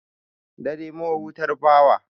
Dare mahutar bawa.